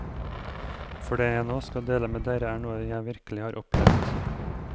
For det jeg nå skal dele med dere er noe jeg virkelig har opplevd.